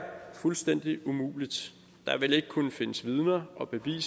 fuldstændig umuligt der vil ikke kunne findes vidner og beviser